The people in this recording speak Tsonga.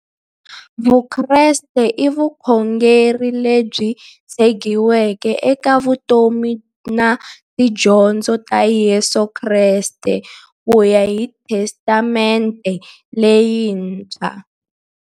Vukreste i vukhongeri lebyi tshegiweke eka vutomi na tidyondzo ta Yesu Kreste kuya hi Testamente leyintshwa.